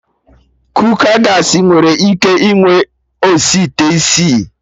Kooka Gaasị nwere ike inwe osi ite isii